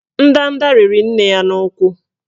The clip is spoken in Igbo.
Ndanda rịrị nne ya n'ụkwụ